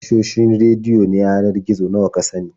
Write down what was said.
Tashoshin rediyo na yanar gizo nawa ka sani?